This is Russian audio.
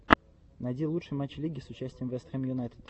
найди лучший матч лиги с участием вест хэм юнайтед